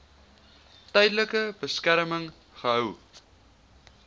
tydelike beskerming gehou